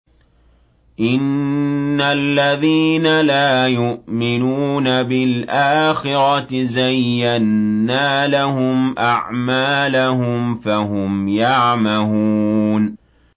إِنَّ الَّذِينَ لَا يُؤْمِنُونَ بِالْآخِرَةِ زَيَّنَّا لَهُمْ أَعْمَالَهُمْ فَهُمْ يَعْمَهُونَ